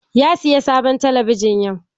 Ya sayi sabon talabijin yau.